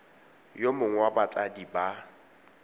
yo mongwe wa batsadi ba